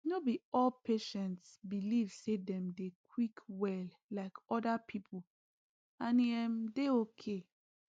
no be all patients belive say them dey quick well like other people and e um dey okay